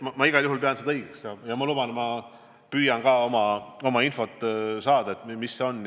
Ma igal juhul pean seda õigeks ja ma luban, et ma püüan ka infot saada, mis fond see on.